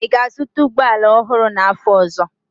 Ị ga-azụta ụgbọ ala ọhụrụ n'afọ ọzọ?